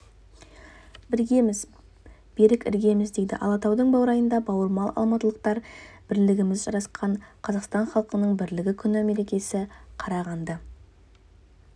біргеміз берік іргеміз дейді алатаудың баурайындағы бауырмал алматылықтар бірлігіміз жарасқан қазақстан халқының бірлігі күні мерекесін қарағанды